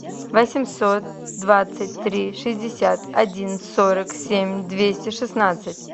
восемьсот двадцать три шестьдесят один сорок семь двести шестнадцать